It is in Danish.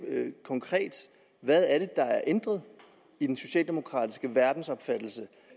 konkret hvad er det der er ændret i den socialdemokratiske verdensopfattelse